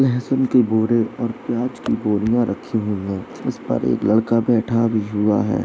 लहसुन के बोरे और प्याज की बोरियाँ रखी हुई हैं इस पर एक लड़का बैठा भी हुआ है।